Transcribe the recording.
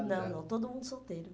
Não, não, todo mundo solteiro.